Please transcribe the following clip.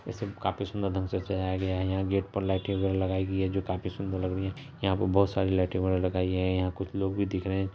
इसे काफी सुंदर ढ़ंग से सजाया गया है यहाँ गेट पर लाइटें वगैरा लगाई गई है जो काफी सुंदर लग रही है यहाँ बहुत सारी लाइटें वगैरा लगाई है यहाँ कुछ लोग भी दिख रहे है।